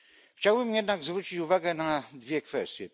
Chciałbym jednak zwrócić uwagę na dwie kwestie.